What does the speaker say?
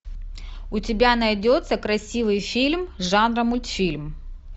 у тебя найдется красивый фильм жанра мультфильм